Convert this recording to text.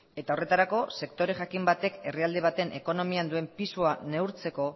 eta horretarako sektore jakin batek herrialde baten ekonomian duen pisua neurtzeko